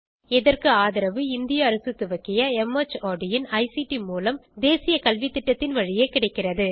இதற்கு ஆதரவு இந்திய அரசு துவக்கிய மார்ட் இன் ஐசிடி மூலம் தேசிய கல்வித்திட்டத்தின் வழியே கிடைக்கிறது